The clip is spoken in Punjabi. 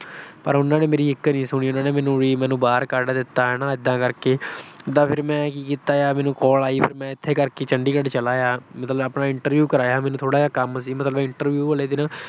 ਪਰ ਉਹਨਾਂ ਨੇ ਮੇਰੀ ਇਕ ਨੀ ਸੁਣੀ। ਉਹਨਾਂ ਨੇ ਮੈਨੂੰ ਵੀ ਬਾਹਰ ਕੱਢ ਦਿੱਤਾ ਹਨਾ ਇਦਾਂ ਕਰਕੇ। ਫਿਰ ਮੈਂ ਕੀਤਾ, ਮੈਨੂੰ ਕਾਲ ਆਈ, ਮੈਂ ਇਸੇ ਕਰਕੇ ਚੰਡੀਗੜ੍ਹ ਚਲਾ ਆਇਆ। ਮਤਲਬ ਆਪਣਾ interview ਕਰਵਾਇਆ। ਮੈਨੂੰ ਥੋੜਾ ਜਿਹਾ ਕੰਮ ਸੀ ਮਤਲਬ interview ਵਾਲੇ ਦਿਨ